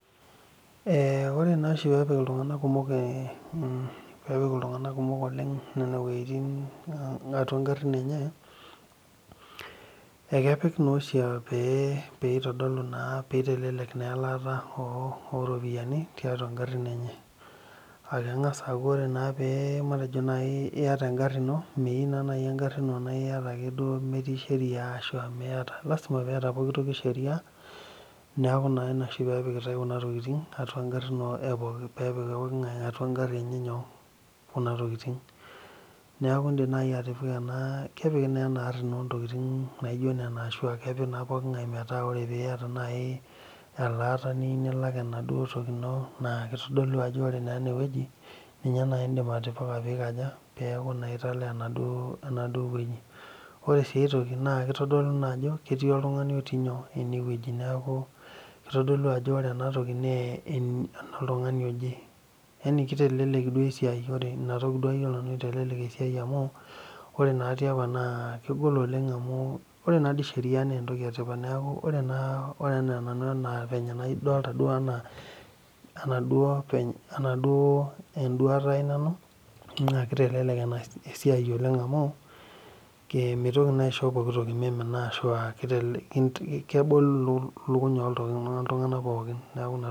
Ore naa oshi peepiki iltunganak kumok oleng nene wuejitin atua garin enye, ekepik nooshi pee itelelek naa elaata ooropiyiani tiatua garin, enye.aa keng'as aaku ore pee iyata, egari ino. meyieu naa naji egari ino pee iyata ake nemetii Sheria, ashu niyata Lasima pee eeta pooki toki sheria. neeku naa Ina oshi peepikitae Kuna tokitin atua garin. peepik pookin ng'ae atua egari enye nyoo, Kuna tokitin. neeku idim naaji atipika ena. kepiki naa ena ari, ntokitin naijo nena. metaa teniata naaji elaata niyieu nilak enaduoo toki ino. naa kitodolu ajo ore naa ene wueji ninye naa idim atipika, pee ikaja peeku naa italaa enaduoo wueji. ore sii aitoki kitodolu naa ajo ketii, oltungani otii inyoo. ene wueji. kitodolu ore ena toki naa enoltungani, oje. yani kitelelelek duo esiai. ina toki duoa ayiolo nanu itelelek esiai amu ore naa tiapa naa kegol oleng amu ore naa sii Sheria naa entoki etipat neeku. ore anaa nanu venye nadolta duoo anaa. enadupo eduata ai nanu naa kitelelek esiai oleng amu mintoki naa aisho pooki tokii mimina, ashu aakebol ilkuny oltungank pookin .